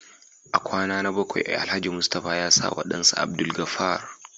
A kwana na bakwai Alhaji Mustapha ya sawa dansa Abdulgafar